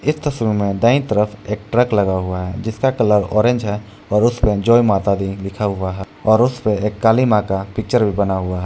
इस तस्वीर में दांयी तरफ एक ट्रक लगा हुआ है जिसका कलर औरेंज है और उसमें जय माता दी लिखा हुआ है और उसपे एक क़ाली मां पिक्चर भी बना हुआ है।